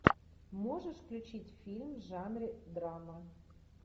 можешь включить фильм в жанре драма